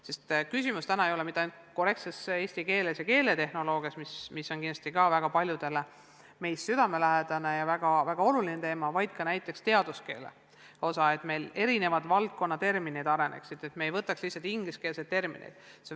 Sest küsimus ei ole mitte ainult korrektses eesti keeles ja keeletehnoloogias, mis on kindlasti väga paljudele meist südamelähedane ja väga oluline teema, vaid ka näiteks teaduskeele osas, et meil erinevad valdkonnaterminid areneksid ja me ei võtaks lihtsalt üle ingliskeelseid termineid.